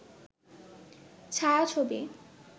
ছায়াছবি